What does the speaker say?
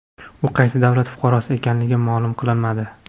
U qaysi davlat fuqarosi ekanligi ma’lum qilinmadi.